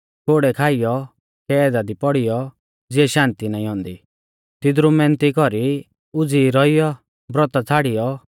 कोड़ै खाइयौ कैदा दी पौड़ीयौ ज़िऐ शान्ति नाईं औन्दी तिदरु मैहनती कौरी उज़ीई रौइऔ ब्रौता छ़ाड़ियौ